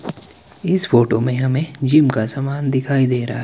इस फोटो में हमें जिम का सामान दिखाई दे रहा है।